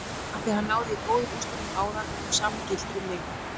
Afþví hann náði góðum úrslitum áður og það sama gildir um mig.